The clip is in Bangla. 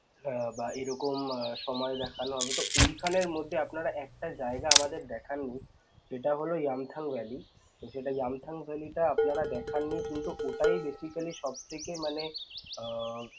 উম বা এরকম~ সময় দেখানো হবে তো ওইখানের মধ্যে আপনারা একটা জাইগা আমাদের দেখাননি সেটা হোল yumthang valley যেটা yumthang valley টা আপনারা দেখাননি কিন্তু ওটাই basically সবথেকে মানে উম